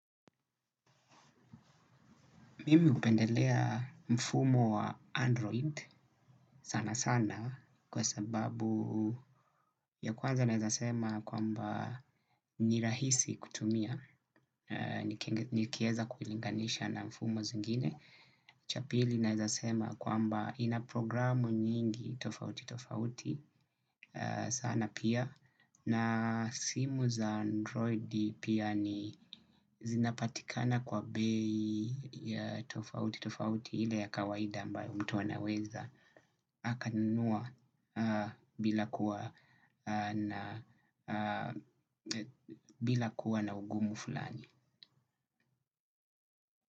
Mimi hupendelea mfumo wa Android sanasana kwa sababu ya kwanza naezasema kwamba ni rahisi kutumia. Nikieza kuilinganisha na mfumo zingine cha pili naezasema kwamba ina programu nyingi tofautitofauti sana pia. Na simu za androidi pia ni zinapatikana kwa bei ya tofauti tofauti ile ya kawaida ambayo mtu anaweza akanunua bila kuwa na ugumu fulani.